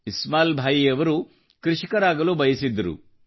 ಇಸ್ಮಾಯಿಲ್ ಭಾಯಿಯವರು ಕೃಷಿಕರಾಗಲು ಬಯಸಿದ್ದರು